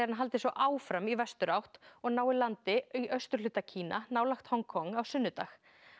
hann haldi svo áfram í vesturátt og nái landi í austurhluta Kína nálægt Hong Kong á sunnudag